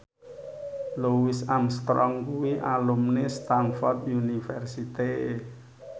Louis Armstrong kuwi alumni Stamford University